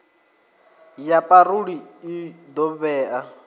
ya parole i ḓo vhea